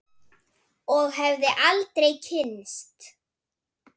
Og hefði aldrei kynnst